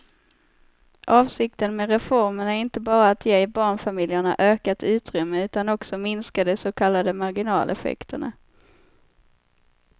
Avsikten med reformen är inte bara att ge barnfamiljerna ökat utrymme utan också minska de så kallade marginaleffekterna.